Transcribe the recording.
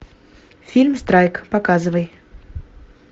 фильм страйк показывай